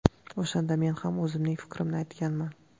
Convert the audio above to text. O‘shanda men ham o‘zimning fikrimni aytganman.